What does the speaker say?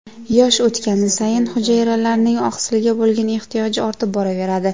Yosh o‘tgani sayin hujayralarning oqsilga bo‘lgan ehtiyoji ortib boraveradi.